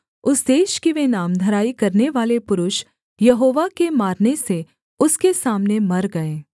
उस देश की वे नामधराई करनेवाले पुरुष यहोवा के मारने से उसके सामने मर गये